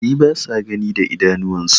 makahi basa Gani da idanuwan su